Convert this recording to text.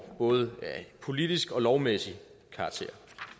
både af politisk og lovmæssig karakter